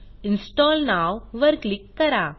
install now वर click करा